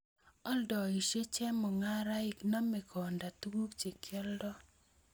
Oldoisiet chemungaraek, nome konda tuguk che kioldoi